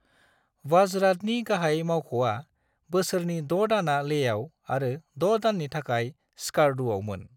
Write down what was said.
वाजरातनि गाहाय मावख'आ बोसोरनि द' दानआ लेहआव आरो द' दाननि थाखाय स्कार्दुआवमोन।